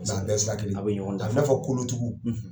an bɛɛ ye sira kelen. A b'i na fɔ kolo tugu